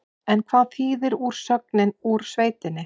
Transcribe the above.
En hvað þýðir úrsögnin úr sveitinni?